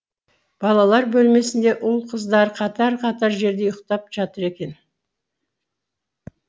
балалар бөлмесінде ұл қыздары қатар қатар жерде ұйықтап жатыр екен